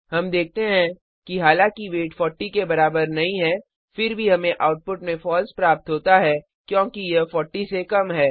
हम देखते हैं कि हालांकि वेट 40 के बराबर नहीं है फिर भी हमें आउटपुट में फॉल्स प्राप्त होता है क्योंकि यह 40 से कम है